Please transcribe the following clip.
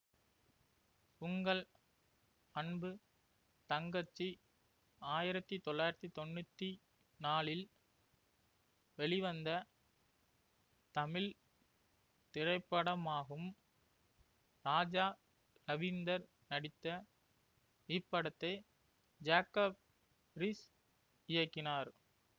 உங்கள் அன்பு தங்கச்சி ஆயிரத்தி தொள்ளாயிரத்தி தொன்னூத்தி நாலில் வெளிவந்த தமிழ் திரைப்படமாகும் ராஜா ரவீந்தர் நடித்த இப்படத்தை ஜேக்கப் ரீஸ் இயக்கினார்